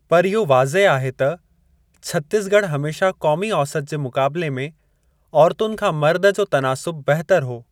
पर इहो वाज़ह आहे त छत्तीसॻढ़ हमेशा क़ोमी औसत जे मुक़ाबिले में औरतुनि खां मर्दु जो तनासुब बहितर हो।